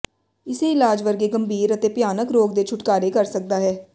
ਇਸੇ ਇਲਾਜ ਵਰਗੇ ਗੰਭੀਰ ਅਤੇ ਭਿਆਨਕ ਰੋਗ ਦੇ ਛੁਟਕਾਰੇ ਕਰ ਸਕਦਾ ਹੈ